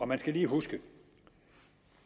man skal lige huske at